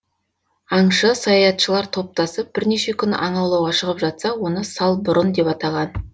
аңшы саятшылар топтасып бірнеше күн аң аулауға шығып жатса оны салбұрын деп атаған